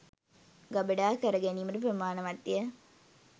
ගබඩා කරගැනීමට ප්‍රමාණවත් ය.